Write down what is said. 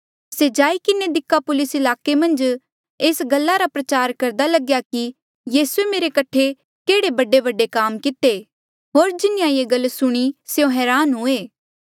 से जाई किन्हें दिकापुलिस ईलाके मन्झ एस गल्ला रा प्रचार करदा लग्या कि यीसूए मेरे कठे केहड़े बडेबडे काम किते होर जिन्हें ये गल सुणी स्यों हरान हुए